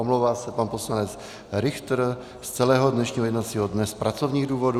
Omlouvá se pan poslanec Richter z celého dnešního jednacího dne z pracovních důvodů.